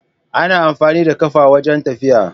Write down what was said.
Ana amfani da ƙafa wajan tafiya